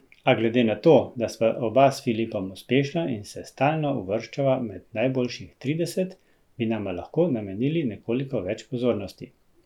A glede na to, da sva oba s Filipom uspešna in se stalno uvrščava med najboljših trideset, bi nama lahko namenili nekoliko več pozornosti.